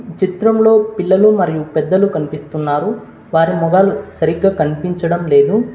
ఇచిత్రంలో పిల్లలు మరియు పెద్దలు కనిపిస్తున్నారు వారి మొఘాలు సరిగ్గా కనిపించడం లేదు.